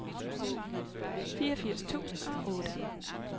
fireogfirs tusind og otte